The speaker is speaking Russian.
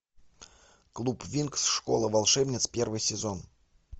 клуб винкс школа волшебниц первый сезон